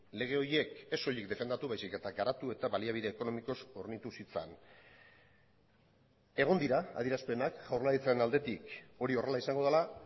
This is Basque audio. lege horiek ez soilik defendatu baizik eta garatu eta baliabide ekonomikoz hornitu zitzan egon dira adierazpenak jaurlaritzaren aldetik hori horrela izango dela